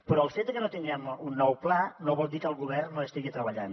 però el fet que no tinguem un nou pla no vol dir que el govern no hi estigui treballant